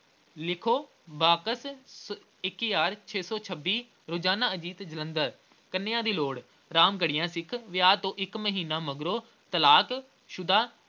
ਲਿਖੋ ਬਾਕਸ ਅਹ ਇੱਕ ਹਜ਼ਾਰ ਛੇ ਸੌ ਛੱਬੀਂ ਰੋਜ਼ਾਨਾ ਅਜੀਤ ਜਲੰਧਰ । ਕੰਨੀਆ ਦੀ ਲੋੜ ਰਾਮਗੜੀਆਂ ਸਿੱਖ ਵਿਆਹ ਤੋਂ ਇੱਕ ਮਹੀਨਾ ਮਗਰੋਂ ਤਲਾਕਸ਼ੁਦਾ